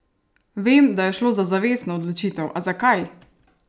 Vem, da je šlo za zavestno odločitev, a zakaj?